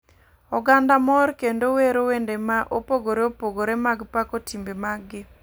Oganda mor kendo wero wende ma opogore opogore mag pako timbe mag gi.